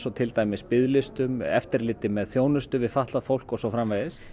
til dæmis biðlistum eftirliti með þjónustu við fatlað fólk og svo framvegis